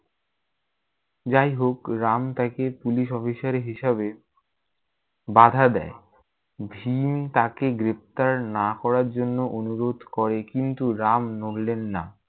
যাইহোক রাম তাকে police officer হিসাবে বাধা দেয়। ভীম তাকে গ্রেফতার না করার জন্য অনুরোধ করে কিন্তু রাম নড়লেন নাহ।